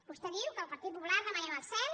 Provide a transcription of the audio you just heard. vostè diu que el partit popular demanem el cel